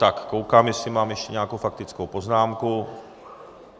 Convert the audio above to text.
Tak koukám, jestli mám ještě nějakou faktickou poznámku.